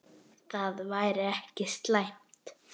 Það væri ekki slæmt.